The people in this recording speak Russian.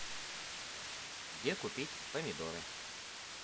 где купить помидоры